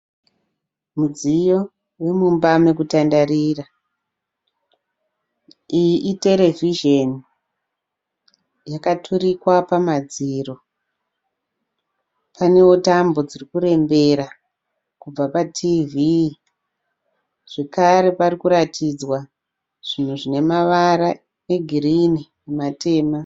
Mudziyo womumba mokutandarira. Iyi iterevizheni yakaturikwa pamadziro. Panewo tambo dzirikurembera kubva patiivii. Zvekare parikuratidzwa zvinhu zvinemavara egirini nematema.